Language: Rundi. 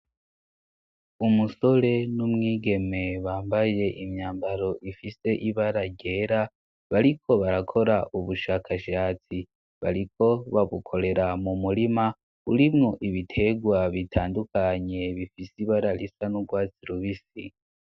Umusore n'umwigeme bambaye imyambaro ifise ibara ryera bariko barakora ubushakashatsi, bariko babukorera mu murima urimwo ibiterwa bitandukanye bifise ibara risa n'urwatsi rubisi.